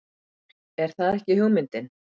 Er það ekki hugmyndin?